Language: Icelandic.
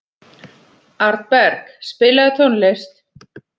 Arnberg, spilaðu tónlist.